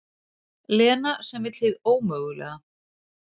Lena sem vill hið ómögulega.